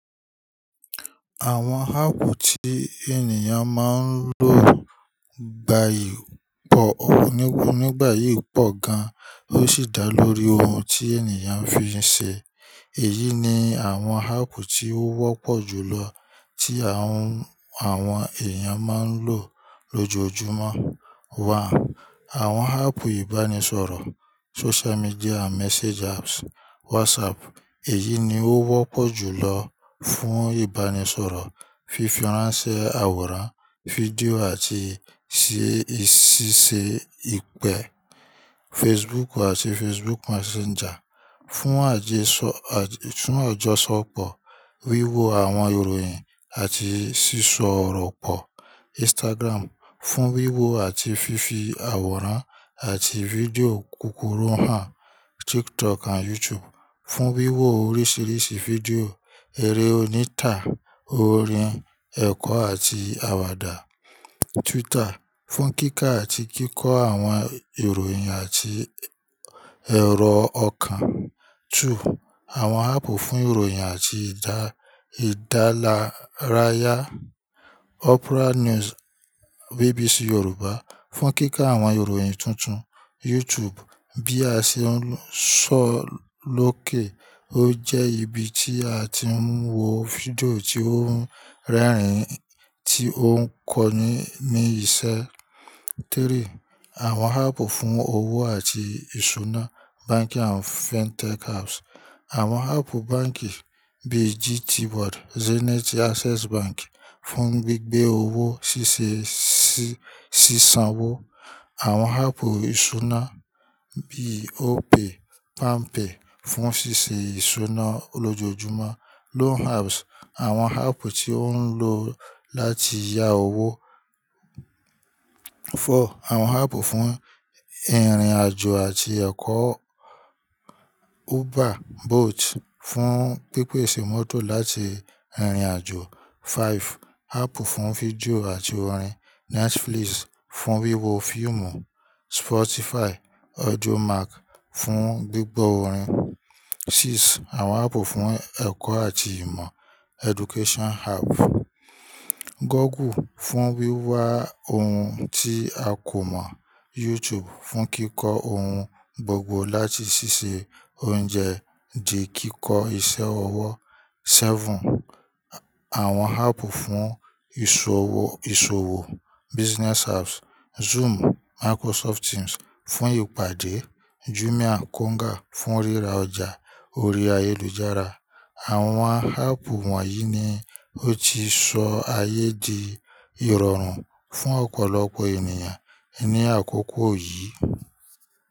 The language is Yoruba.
Àwọn háàpù tí ènìyàn máa ń lò gbayì pọ̀ oní kú nígbà yìí pọ̀ gan, ó sì dá lórí ohun tí ènìyàn fi ń ṣe. Èyí ni àwọn háàpù tí ó wọ́pọ̀ jù lọ tí àwọn, àwọn èèyàn máa ń lò lójoojúmọ́. À àwọn háàpù ìbánisọ̀rọ̀ social media and message apps. WhatsApp, èyí ni ó wọ́pọ̀ jù lọ fún ìbánisọ̀rọ̀, fífi ránṣẹ́ àwòrán, fídíò àti ṣíṣe ìpè. Facebook àti Facebook Messenger, fún àjẹsọ-- fún àjọsọpọ̀, wíwo àwọn ìròyìn àti sísọrọ̀ pọ̀. Instagram, fún wíwo àti fífi àwòrán àti fídíò kúkúrú hàn. TikTok and YouTube, fún wíwo oríṣiríṣi fídíò, eré onítà, orin, ẹ̀kọ́ àti àwàdà. Twitter, fún kíkà àti kíkọ́ àwọn ìròyìn àti èrò ọkàn. Two: àwọn háàpù fún ìròyìn àti ìdálárayá. Opera News, BBC Yoruba, fún kíkà àwọn ìròyìn tuntun. YouTube, bí a ṣe ń sọ lókè ó jẹ́ ibi tí a ti ń wo fídíò tí ó ń rẹ́rìn-ín, tí ó ń kọ́ni ní iṣẹ́. Three: àwọn háàpù fún owó àti ìṣúná. Banking and Fintech apps. Àwọn háàpù báǹkì bíi GTBank, Zenith, Access Bank fún gbígbé owó, ṣíṣe, ṣíṣan owó. Àwọn háàpù ìṣúná bíi Opay, Palmpay fún ṣíṣe ìṣúná olójoojúmọ́. Loan apps, àwọn háàpù tí ó ń lò láti yá owó. Four: àwọn háàpù fún ìrìnàjò àti ẹ̀kọ́. Uber, Bolt fún pípèsè mọ́tò láti rìn ìrìnàjò. Five: háàpù fún fídíò àti orin. Netflix fún wíwo fíìmù. Spotify, audiomack fún gbígbọ́ orin. Six: àwọn háàpù fún ẹ̀kọ́ àti ìmọ̀. Education apps. Google fún wíwa ohun tí a kò mọ̀. YouTube fún kíkọ́ ohun gbogbo, láti ṣíṣe oúnjẹ dé kíkọ́ iṣẹ́ ọwọ́. Seven: àwọn háàpù fún ìṣòwò. Business apps. Zoom, Microsoft Teams fún ìpàdé. Jumia, Konga fún ríra ọjà ori ayélujára. Àwọn háàpù wọ̀nyí ni ó ti sọ ayé di ìrọ̀rùn fún ọ̀pọ̀lọpọ̀ ènìyàn ní àkókò yìí.